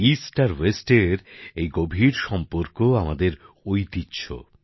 পূর্ব আর পশ্চিমের এই গভীর সম্পর্ক আমাদের ঐতিহ্য